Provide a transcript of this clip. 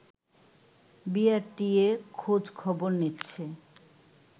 BRTA খোঁজ খবর নিচ্ছে